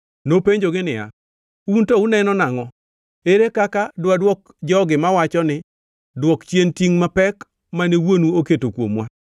Nopenjogi niya, “Un to uneno nangʼo? Ere kaka dwadwok jogi mawacho ni, ‘Dwok chien tingʼ mapek mane wuonu oketo kuomwa’?”